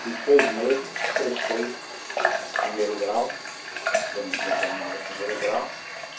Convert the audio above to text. Fiz seis meses, prestei o primeiro grau, porque eu não tinha terminado o primeiro grau.